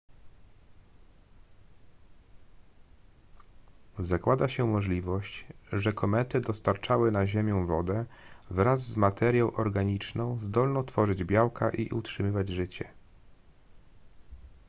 zakłada się możliwość że komety dostarczały na ziemię wodę wraz z materią organiczną zdolną tworzyć białka i utrzymywać życie